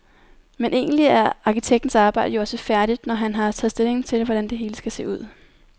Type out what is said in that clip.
Men egentlig er arkitektens arbejde jo også færdigt, når han har taget stilling til, hvordan det hele skal se ud.